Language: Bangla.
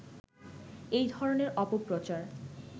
এই ধরনের অপপ্রচার